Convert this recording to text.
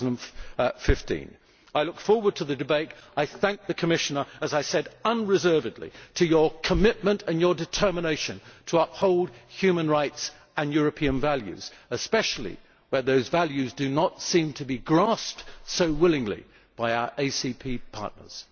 2015. I look forward to the debate and thank the Commissioner unreservedly for his commitment and determination to uphold human rights and European values, especially when those values do not seem to grasped so willingly by our ACP partners.